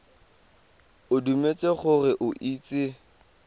o dumetse gore o itse